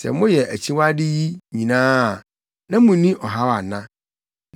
sɛ moyɛ akyiwade yi nyinaa a na munni ɔhaw ana?